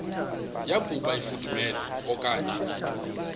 yokuba ifudumele okanye